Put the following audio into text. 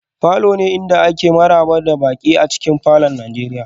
falors ne inda ake maraba da baƙi a cikin gidajen nigeria